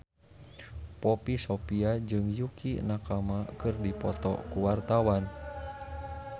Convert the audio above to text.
Poppy Sovia jeung Yukie Nakama keur dipoto ku wartawan